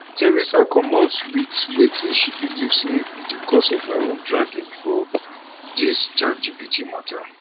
theresa comot wit wetin she believe say be di cause of her own dragging for dis chatgpt mata